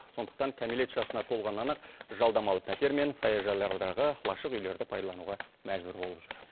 сондықтан кәмелет жасына толғаннан ақ жалдамалы пәтер мен саяжайлардағы лашық үйлерді пайдалануға мәжбүр болып жүр